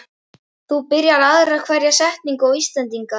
þú byrjar aðra hverja setningu á Íslendingar.